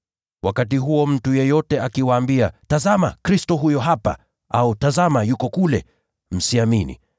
Wakati huo mtu yeyote akiwaambia, ‘Tazama, Kristo huyu hapa!’ au, ‘Tazama, yuko kule,’ msisadiki.